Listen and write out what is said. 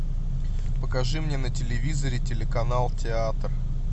покажи мне на телевизоре телеканал театр